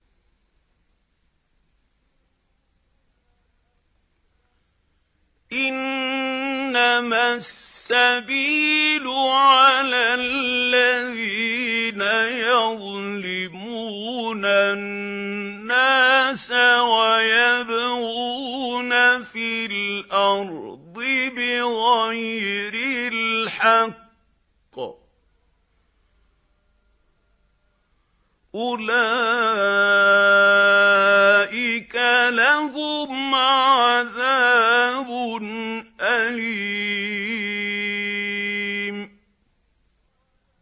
إِنَّمَا السَّبِيلُ عَلَى الَّذِينَ يَظْلِمُونَ النَّاسَ وَيَبْغُونَ فِي الْأَرْضِ بِغَيْرِ الْحَقِّ ۚ أُولَٰئِكَ لَهُمْ عَذَابٌ أَلِيمٌ